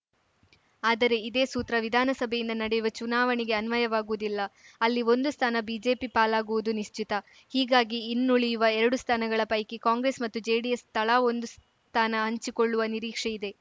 ಆದರೆ ಇದೇ ಸೂತ್ರ ವಿಧಾನಸಭೆಯಿಂದ ನಡೆಯುವ ಚುನಾವಣೆಗೆ ಅನ್ವಯವಾಗುವುದಿಲ್ಲ ಅಲ್ಲಿ ಒಂದು ಸ್ಥಾನ ಬಿಜೆಪಿ ಪಾಲಾಗುವುದು ನಿಶ್ಚಿತ ಹೀಗಾಗಿ ಇನ್ನುಳಿಯುವ ಎರಡು ಸ್ಥಾನಗಳ ಪೈಕಿ ಕಾಂಗ್ರೆಸ್‌ ಮತ್ತು ಜೆಡಿಎಸ್‌ ತಳಾ ಒಂದು ಸ್ಥಾನ ಹಂಚಿಕೊಳ್ಳುವ ನಿರೀಕ್ಷೆಯಿದೆ